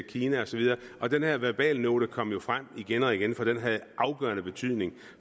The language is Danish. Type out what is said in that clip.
kina og så videre den her verbalnote kom jo frem igen og igen for den havde afgørende betydning